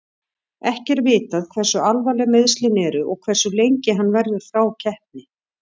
Ekki er vitað hversu alvarleg meiðslin eru og hversu lengi hann verður frá keppni.